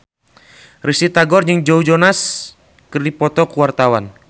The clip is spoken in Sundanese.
Risty Tagor jeung Joe Jonas keur dipoto ku wartawan